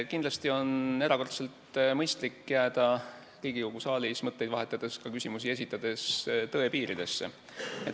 Kindlasti on erakordselt mõistlik jääda Riigikogu saalis mõtteid vahetades ja ka küsimusi esitades tõe piiridesse.